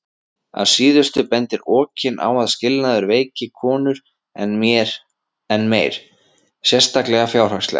Að síðustu bendir Okin á að skilnaður veiki konur enn meir, sérstaklega fjárhagslega.